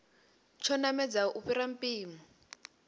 tsho namedzaho u fhira mpimo